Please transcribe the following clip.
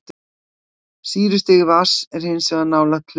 Sýrustig vatns er hins vegar nálægt hlutlausu.